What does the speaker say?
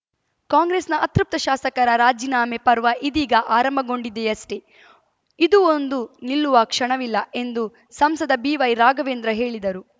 ಕಾಂಗ್ರೆಸ್‌ನ ಅತೃಪ್ತ ಶಾಸಕರ ರಾಜೀನಾಮೆ ಪರ್ವ ಇದೀಗ ಆರಂಭಗೊಂಡಿದೆಯಷ್ಟೆ ಇದು ಒಂದು ನಿಲ್ಲುವ ಕ್ಷಣವಿಲ್ಲ ಎಂದು ಸಂಸದ ಬಿವೈ ರಾಘವೇಂದ್ರ ಹೇಳಿದರು